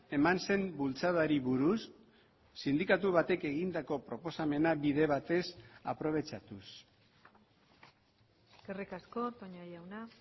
eman zen bultzadari buruz sindikatu batek egindako proposamena bide batez aprobetxatuz eskerrik asko toña jauna